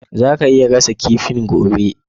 Zaka iya gasa kifin gobe?